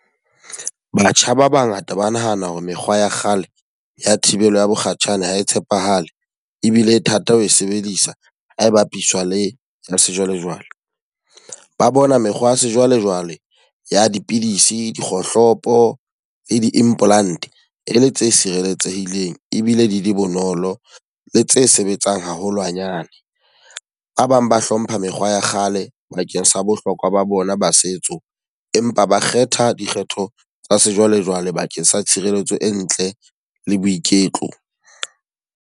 Batjha ba ba ngata ba nahana hore mekgwa ya kgale ya thibela bokgatjhane ha e tshepahale. Ebile e thata ho e sebedisa ha e bapiswa le ya sejwalejwale. Ba bona mekgwa ya sejwalejwale ya dipidisi, dikgohlopo, le di-implant e le tse sireletsehileng ebile di le bonolo le tse sebetsang haholwanyane. Ba bang ba hlompha mekgwa ya kgale bakeng sa bohlokwa ba bona ba setso. Empa ba kgetha dikgetho tsa sejwalejwale bakeng sa tshireletso e ntle le boiketlo.